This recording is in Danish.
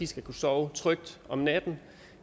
skal kunne sove trygt om natten